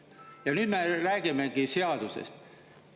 Ja nüüd me räägimegi seadusest.